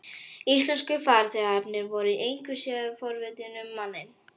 Íslensku farþegarnir voru engu síður forvitnir um manninn.